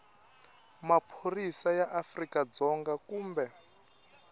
maphorisa ya afrika dzonga kumbe